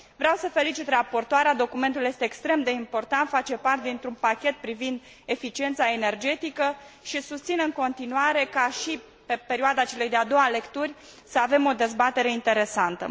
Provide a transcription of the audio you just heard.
Vreau să felicit raportoarea, documentul este extrem de important, face parte dintr un pachet privind eficiența energetică și susțin în continuare ca și pe perioada celei de a doua lecturi să avem o dezbatere interesantă.